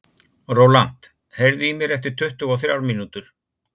Rólant, heyrðu í mér eftir tuttugu og þrjár mínútur.